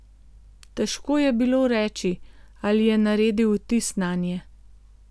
Težko je bilo reči, ali je naredil vtis nanje.